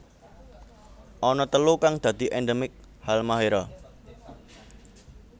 Ana telu kang dadi endemik Halmahera